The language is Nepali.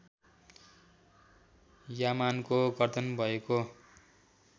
यामानको गर्दन भएको